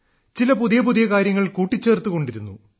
ചില പുതിയ പുതിയ കാര്യങ്ങൾ കൂട്ടിച്ചേർത്തുകൊണ്ടിരുന്നു